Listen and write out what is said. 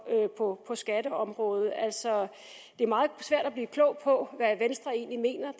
på skatteområdet altså det er meget svært at blive klog på hvad venstre egentlig mener